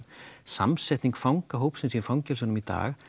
samsetning fangahópsins í fangelsunum í dag